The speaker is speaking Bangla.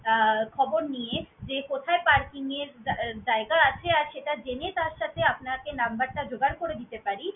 অ্যাঁ খবর নিয়ে যে কোথায় parking এর জা~জায়গা আছে আর সেটা জেনেই তার সাথে আপনাকে number টা জোগাড় করে দিতে পারি।